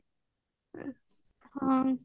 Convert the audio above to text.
ହଁ